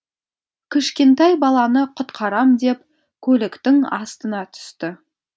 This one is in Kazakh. кішкентай баланы құтқарам деп көліктің астына түсті